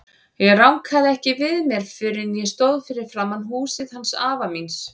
Ég rankaði ekki við mér fyrr en ég stóð fyrir framan húsið hans afa míns.